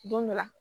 Don dɔ la